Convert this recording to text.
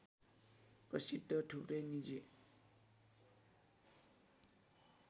प्रसिद्ध थुप्रै निजी